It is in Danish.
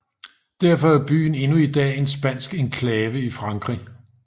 Derfor er byen endnu i dag en spansk enklave i Frankrig